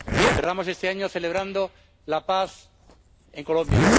Cerramos este año celebrando la paz en Colombia.